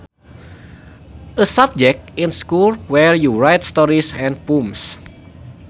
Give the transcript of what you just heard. A subject in school where you write stories and poems